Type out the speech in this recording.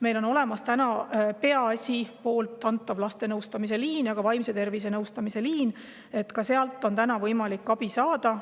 Meil on olemas MTÜ Peaasjad laste nõustamise liin ja vaimse tervise nõustamise liin, ka sealt on täna võimalik abi saada.